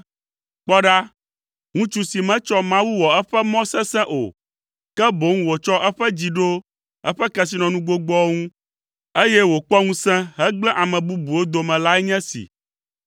“Kpɔ ɖa, ŋutsu si metsɔ Mawu wɔ eƒe mɔ sesẽ o, ke boŋ wòtsɔ eƒe dzi ɖo eƒe kesinɔnu gbogboawo ŋu, eye wòkpɔ ŋusẽ hegblẽ ame bubuwo dome lae nye esi!”